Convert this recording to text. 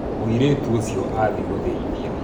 Mũirĩtu ũcio athiĩ guthĩithia